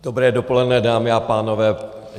Dobré dopoledne, dámy a pánové.